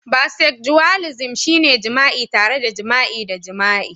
Bisexualism shine jima'i tare da jima'i da jima'i